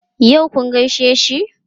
Yau kun gaishe shi?